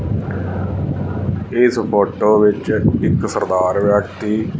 ਇਸ ਫ਼ੋਟੋ ਵਿੱਚ ਇੱਕ ਸਰਦਾਰ ਵਿਅਕਤੀ--